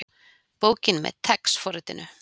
Bókin með TeX forritinu.